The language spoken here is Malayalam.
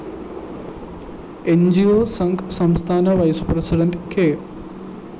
ന്‌ ജി ഓ സംഘ് സംസ്ഥാന വൈസ്‌ പ്രസിഡന്റ് കെ